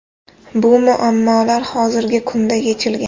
Bu muammolar hozirgi kunda yechilgan.